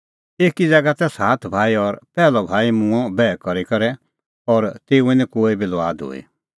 ता एकी ज़ैगा तै सात भाई और पैहलअ भाई मूंअ बैह करी करै और तेऊए निं कोई बी लुआद हूई